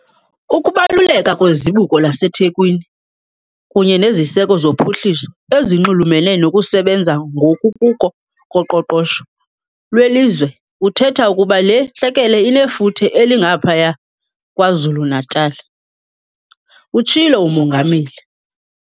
"Ukubaluleka kweZibuko laseThekwini kunye neziseko zophuhliso ezinxulumene nokusebenza ngokukuko koqoqosho lwelizwe kuthetha ukuba le ntlekele inefuthe elingaphaya KwaZulu-Natal," utshilo uMongameli.